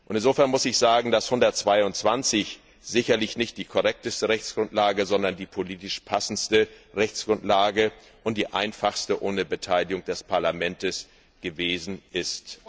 Insofern muss ich sagen, dass Artikel 122 sicherlich nicht die korrekteste Rechtsgrundlage, sondern die politisch passendste Rechtsgrundlage und die einfachste ohne Beteiligung des Parlaments gewesen ist.